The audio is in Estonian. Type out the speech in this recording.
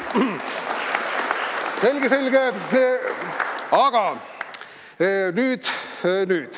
Selge-selge!